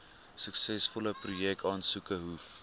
suksesvolle projekaansoeke hoef